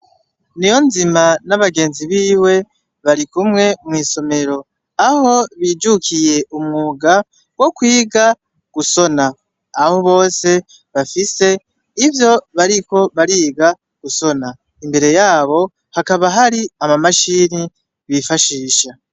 Niyozima nabagenzi biwe barikumwe mw'isomero, ajo bijukiye umwunga wo kwiga gushona, aho bose bafise ivyo bariko bariga gushona, imbere yabo hakaba hari ama mashine bifashisha.